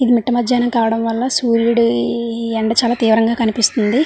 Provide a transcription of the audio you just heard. ఇది మీటమధ్యాహ్నం కావడం వల్ల సూర్యుడి ఎండ చాలా తీవ్రంగా కనిపిస్తుంది.